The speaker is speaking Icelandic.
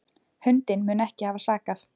Hundinn mun ekki hafa sakað.